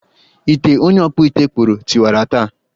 Ite onye ọkpụ ite kpụụrụm tiwara taa